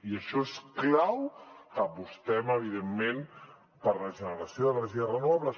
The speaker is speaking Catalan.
i per això és clau que apostem evidentment per la generació d’energies renovables